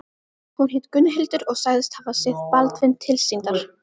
Hún hét Gunnhildur og sagðist hafa séð Baldvin tilsýndar.